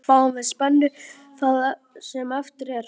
Fáum við spennu það sem eftir er.